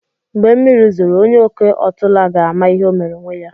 Mgbe mmiri zoro, onye oke otula ga-ama ihe omere onwe ya.